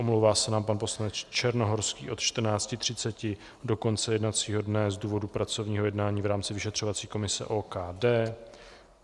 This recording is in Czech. Omlouvá se nám pan poslanec Černohorský od 14.30 do konce jednacího dne z důvodu pracovního jednání v rámci vyšetřovací komise OKD.